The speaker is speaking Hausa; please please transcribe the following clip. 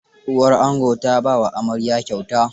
Uwar ango ta ba wa amarya kyauta.